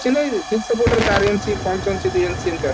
ନାଇଁ ଚାରି inch ପାଞ୍ଚ inch ପାଣି ଦୁଇ inch ସେମିତି